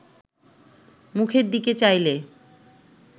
মুখের দিকে চাইলে